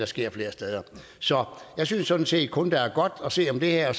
sker flere steder så jeg synes sådan set kun der er godt at sige om det her